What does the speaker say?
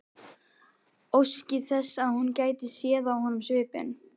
Óski þess að hún gæti séð á honum svipinn.